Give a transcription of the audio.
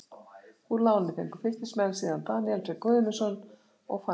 Úr láni fengu Fylkismenn síðan Daníel Frey Guðmundsson og Fannar Baldvinsson.